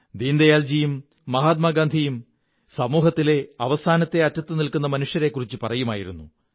ദീനദയാൽ ഉപാദ്ധ്യായും മഹാത്മാഗാന്ധിയും സമൂഹത്തിലെ അവസാനത്തെ അറ്റത്ത് നില്ക്കു ന്ന മനുഷ്യനെക്കുറിച്ച് പറയുമായിരുന്നു